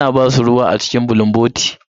Ana ba su ruwa a cikin bulunboti.